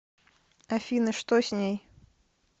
афина что с ней